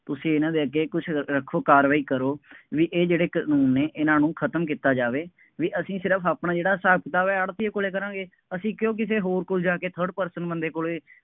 ਤੁਸੀਂ ਇਹਨਾ ਦੇ ਅੱਗੇ ਕੁੱਛ ਰੱਖ ਰੱਖੋ, ਕਾਰਵਾਈ ਕਰੋ, ਬਈ ਇਹ ਜਿਹੜੇ ਕਾਨੂੰਨ ਨੇ, ਇਹਨਾ ਨੂੰ ਖਤਮ ਕੀਤਾ ਜਾਵੇ, ਬਈ ਅਸੀਂ ਸਿਰਫ ਆਪਣਾ ਜਿਹੜਾ ਹਿਸਾਬ ਕਿਤਾਬ ਹੈ, ਆੜ੍ਹਤੀਏ ਕੋਲੇ ਕਰਾਂਗੇ, ਅਸੀਂ ਕਿਉਂ ਕਿਸੇ ਹੋਰ ਕੋੋਲ ਜਾ ਕੇ third person ਬੰਦੇ ਕੋਲੇ